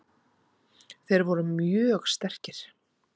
Þeir voru mjög sterkir.